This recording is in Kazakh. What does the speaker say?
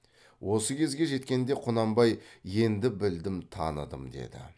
осы кезге жеткенде құнанбай енді білдім таныдым деді